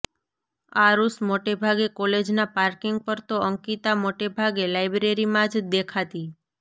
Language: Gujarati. આરુષ મોટેભાગે કોલેજ ના પાર્કિંગ પર તો અંકિતા મોટેભાગે લાઈબ્રેરી માં જ દેખાતી